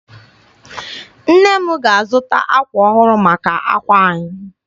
Nne m ga-azụta ákwà ọhụrụ maka àkwà anyị.